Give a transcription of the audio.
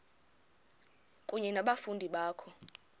kunye nabafundi bakho